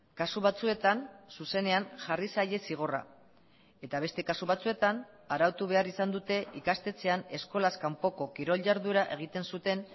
kasu batzuetan zuzenean jarri zaie zigorra eta beste kasu batzuetan arautu behar izan dute ikastetxean eskolaz kanpoko kirol jarduera egiten zuten